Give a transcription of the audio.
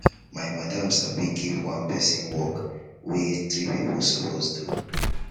my madam sabi give one pesin work wey three pipo suppose do